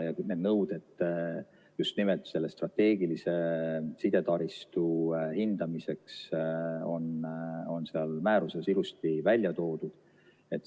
Kõik need nõuded just nimelt selle strateegilise sidetaristu hindamiseks on seal määruses ilusti välja toodud.